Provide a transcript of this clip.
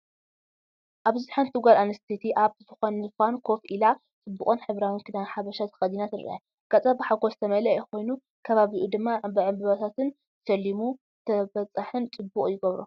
ኣብዚ ሓንቲ ጓል ኣንስተይቲ ኣብ ዝፋን ኮፍ ኢላ፡ ጽቡቕን ሕብራዊን ክዳን ሓበሻ ተኸዲና ትርአ። ገጻ ብሓጎስ ዝተመልአ ኮይኑ፡ ከባቢኡ ድማ ብዕንበባታትን ዕምባባታትን ተሰሊሙ፡ ተበጻሒን ጽቡቕን ይገብሮ።